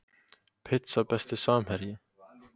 Pizza Besti samherji?